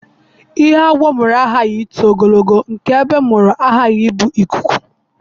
Ihe agwọ mụrụ aghaghị ịdị ogologo, nke egbe mụrụ aghaghị ibu ọkụkọ.